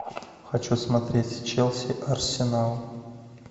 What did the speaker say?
хочу смотреть челси арсенал